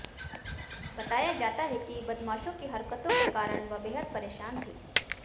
बताया जाता है कि बदमाशों की हरकतों के कारण वह बेहद परेशान थी